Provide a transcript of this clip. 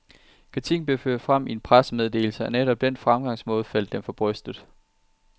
Kritikken blev ført frem i en pressemeddelse, og netop den fremgangsmåde faldt dem for brystet.